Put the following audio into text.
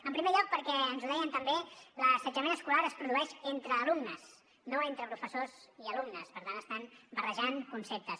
en primer lloc perquè ens ho deien també l’assetjament escolar es produeix entre alumnes no entre professors i alumnes per tant estan barrejant conceptes